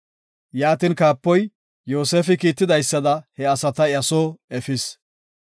Yaatin kaapoy, Yoosefi kiitidaysada he asata iya soo efis.